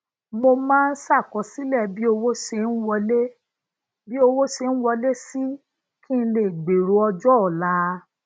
mo máa ń ṣàkọsílè bí owó se ń wọlé si kí n lè gbero ojoola